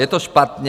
Je to špatně.